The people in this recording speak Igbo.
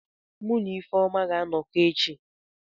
Mu na Ifeoma ga-anọkọ echi.